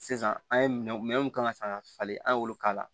Sisan an ye minɛn mun kan ka san ka falen an y'olu k'a la